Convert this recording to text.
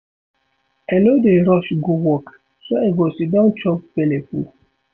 I no dey rush go work so I go siddon chop belle full.